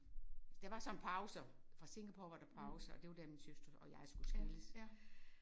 Så der var sådan pauser fra Singapore var der pause og det var der mine søstre og jeg skulle skilles